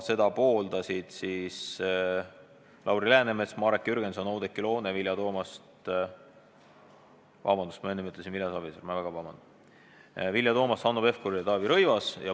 Seda pooldasid Lauri Läänemets, Marek Jürgenson, Oudekki Loone, Vilja Toomast – vabandust, ma enne ütlesin Vilja Savisaar, ma palun vabandust –, Hanno Pevkur ja Taavi Rõivas.